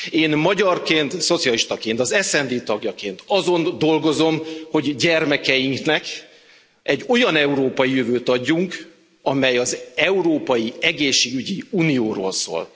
Én magyarként, szocialistaként, az SD tagjaként azon dolgozom, hogy gyermekeiknek egy olyan európai jövőt adjunk, amely az európai egészségügyi unióról szól.